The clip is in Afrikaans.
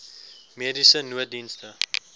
mediese nooddienste